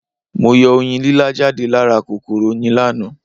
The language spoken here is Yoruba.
Mo yọ Oyin lílá jáde lá ra kòkòrò Oyin láàná